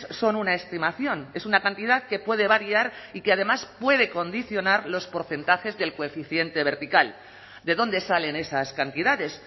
son una estimación es una cantidad que puede variar y que además puede condicionar los porcentajes del coeficiente vertical de dónde salen esas cantidades